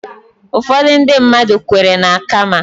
Ụfọdụ ndị mmadụ kweere na Kaama